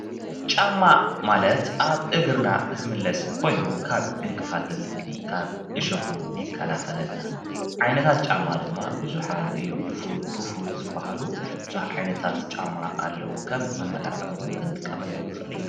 ጫማ ማለት ኣብ እግርና ዝምለስ ኮይኑ ካብ ዕንቅፋትን ካብ ዕሾክን ይካላኸለልና:: ዓይነታ ጫማ ድማ ቡዝሓት እዮም። ድፉን፣ ክፉት ዝበሃሉ ቡዙሓት ዓይነታት ጫማ ኣለዉ:: ከም መመላክዕ እውን ክንጥቀመሎም ንኽእል ኢና።